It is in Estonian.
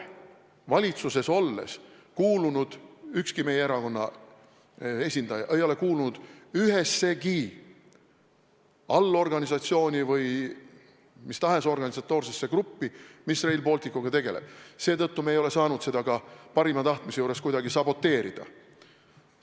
Ükski meie erakonna esindaja ei ole kuulunud ühessegi allorganisatsiooni või mis tahes organisatoorsesse gruppi, mis Rail Balticuga tegeleb, seetõttu me ei ole saanud seda ka parima tahtmise juures kuidagi saboteerida.